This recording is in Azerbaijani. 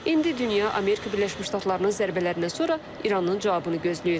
İndi dünya Amerika Birləşmiş Ştatlarının zərbələrindən sonra İranın cavabını gözləyir.